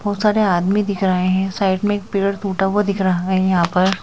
बहुत सारे आदमी दिख रहे हैं साइड में एक पेड़ टूटा हुआ दिख रहा है यहां पर।